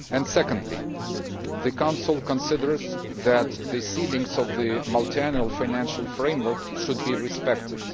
Secondly, the Council considers that the ceilings of the multiannual financial framework should be respected.